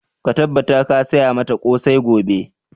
Ka tabbata ka saya mata ƙosai gobe!